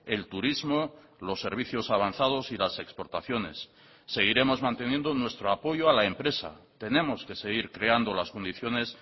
el turismo los servicios avanzados y las exportaciones seguiremos manteniendo nuestro apoyo a la empresa tenemos que seguir creando las condiciones